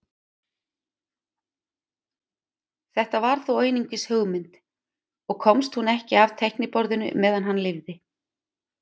Þetta var þó einungis hugmynd og komst hún ekki af teikniborðinu meðan hann lifði.